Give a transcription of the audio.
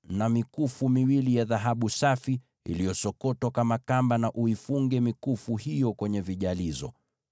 na mikufu miwili ya dhahabu safi iliyosokotwa kama kamba, na uifunge mikufu hiyo kwenye vijalizo.